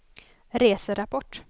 reserapport